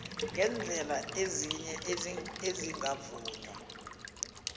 ngeendlela ezinye ezingavunywa